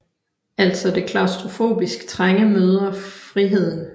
Altså det klaustrofobisk trange møder friheden